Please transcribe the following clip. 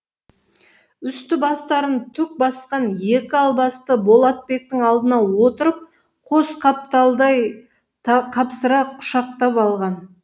үсті бастарын түк басқан екі албасты болатбектің алдына отырып қос қапталдай қапсыра құшақтап алған